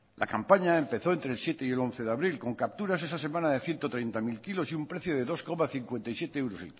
la campaña empezó entre el siete y el once de abril con capturas esa semana de ciento treinta mil kilos y un precio de dos coma cincuenta y siete euros